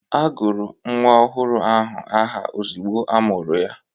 Agụrụ nwa ọhụrụ ahụ aha ozigbo amụrụ ya.